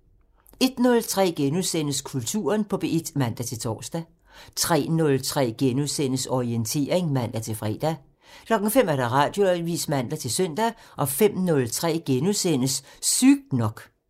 01:03: Kulturen på P1 *(man-tor) 03:03: Orientering *(man-fre) 05:00: Radioavisen (man-søn) 05:03: Sygt nok *(man)